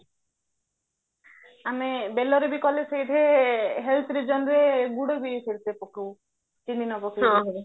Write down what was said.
ଆମ ବେଳରେ ବି କଲେ ସେଇଠି health reasonରେ ଗୁଡ ବି ସେଇଥିରେ ପକଉ ଚିନି ନ ପକେଇକି